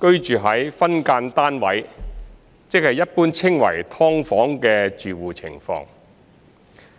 居於"分間單位"住戶的情況。